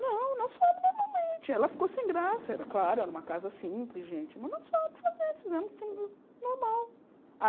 Não, nós fomos normalmente, ela ficou sem graça, era claro, era uma casa simples, gente, mas nós fomos fazer, fizemos o que fizemos, normal.